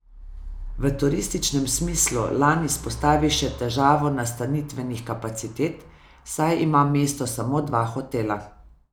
V turističnem smislu Lan izpostavi še težavo nastanitvenih kapacitet, saj ima mesto samo dva hotela.